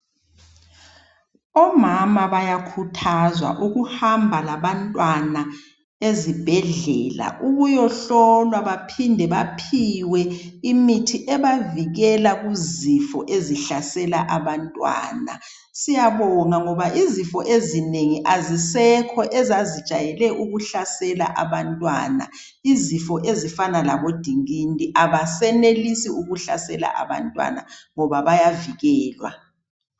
Omama bayakhuthazwa ukuhamba labantwana ezibhedlela. Ukuyohlolwa baphinde baphiwe imithi ebavikela kuzifo ezihlasela abantwana. Siyabonga ngoba izifo ezinengi azisekho ezazijayele ukuhlasela abantwana izifo ezifanana labodingindi abesenelisi ukuhlasela abantwana ngoba bayavikelwa.